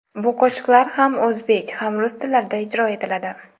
Bu qo‘shiqlar ham o‘zbek, ham rus tillarida ijro etiladi.